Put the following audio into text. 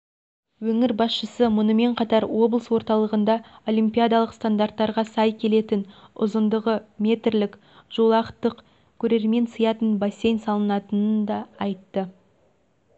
өңір басшысы мұнымен қатар облыс орталығында олимпиадалық стандарттарға сай келетінұзындығы метрлік жолақтық көрермен сиятын бассейн салынатынын да айтты